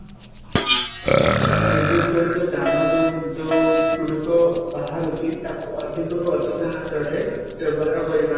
ବିଦ୍ୟୁତ ଚାଳିତ ଯାନ ଯୋଉ ଯୋଉ ଗୁଡିକ ବାହାରୁଛି ତାକୁ ଅଧିକ ରୁ ଅଧିକ ମାତ୍ରା ରେ ବ୍ୟବହାର କରିବା